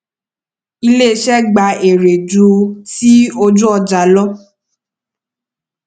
iléiṣẹ gba èrè ju tí ojúọjà lọ